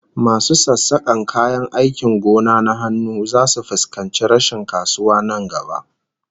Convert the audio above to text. Masu sassakan kayan aikin gona na hannu zasu fuskanci rashin kasuwa nan gaba